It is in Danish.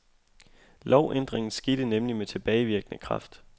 Lovændringen skete nemlig med tilbagevirkende kraft.